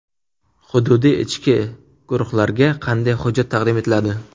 Hududiy ishchi guruhlarga qanday hujjat taqdim etiladi?